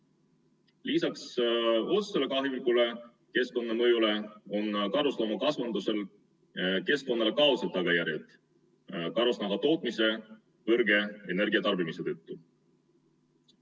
Lisaks otsesele kahjulikule keskkonnamõjule on karusloomakasvatusel keskkonnale ka kaudsed tagajärjed karusnahatootmise suure energiatarbimise tõttu.